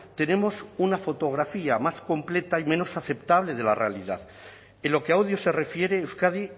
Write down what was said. tenemos una fotografía más completa y menos aceptable de la realidad en lo que a odio se refiere euskadi